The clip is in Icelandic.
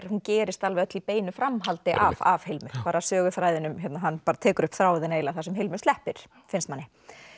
hún gerist öll í beinu framhaldi af af Hilmu hann tekur upp þráðinn eiginlega þar sem Hilmu sleppir finnst manni